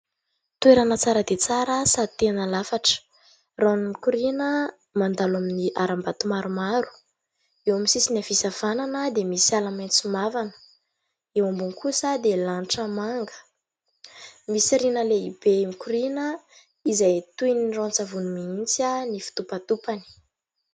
Toerana tsara dia tsara sady tena lafatra, rano mikorina mandalo amin'ny aram-bato maromaro, eo amin'ny sisiny havia sy havanana dia misy ala maitso mavana, eo ambony kosa dia lanitra manga, misy riana lehibe mikorina izay toy ny ranon-tsavony mihitsy ny fitopatopany.